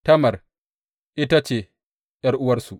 Tamar ita ce ’yar’uwarsu.